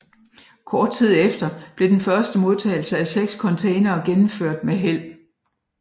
Kort tid efter blev den første modtagelse af 6 containere gennemført med held